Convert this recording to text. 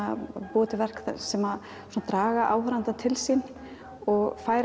búa til verk sem draga áhorfandann til sín og fær